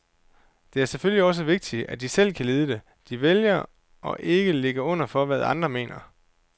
Det er selvfølgelig også vigtigt, at de selv kan lide det, de vælger, og ikke ligger under for, hvad andre mener.